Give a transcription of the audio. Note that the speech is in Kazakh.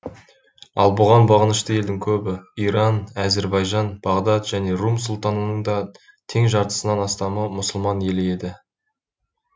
ал бұған бағынышты елдің көбі иран әзербайжан бағдат және рум сұлтанатының да тең жартысынан астамы мұсылман елі еді